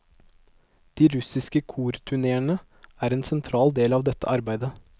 De russiske korturneene er en sentral del av dette arbeidet.